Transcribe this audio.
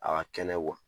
A ka kɛnɛ kuwa